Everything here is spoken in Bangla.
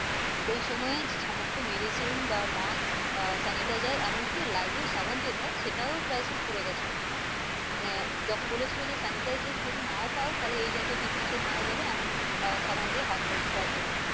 ওই সময়ের সমস্ত medicine বা mask আহ sanitizer এমন কি lifebuoy soap সাবান যেটা সেটাও crisis পরে গিয়েছিল মানে যখন বলেছিল যে sanitizer যদি নাও পাও তাহলে এই জাতীয় কীটনাশক মারা যাবে এমন আহ সাবান দিয়ে হাত ধোয়ার জন্য,